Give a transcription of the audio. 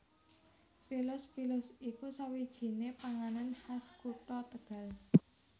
PilusPilus iku sawijinè panganan khas kutha Tegal